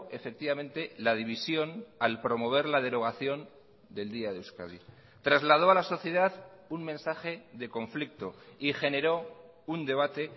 efectivamente la división al promover la derogación del día de euskadi trasladó a la sociedad un mensaje de conflicto y generó un debate